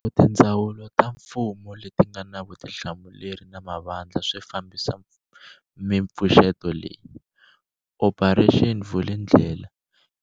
Loko tindzawulo ta mfumo leti nga na vutihlamuleri na mavandla swi fambisa mipfuxeto leyi, Operation Vulindlela